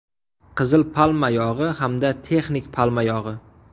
Qizil palma yog‘i hamda texnik palma yog‘i.